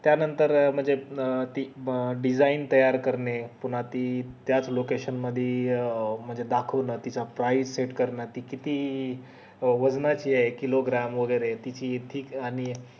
त्या नंतर म्हणजे ती design तयार करणे कोणची त्याच location मध्ये अं म्हणजे दाखवतात तीच priceset करणं ती किती वजनांची ये kilogram वैगेरे किती thick आणि